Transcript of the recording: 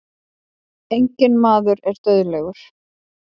Enginn maður er dauðlegur.